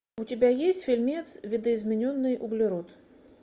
у тебя есть фильмец видоизмененный углерод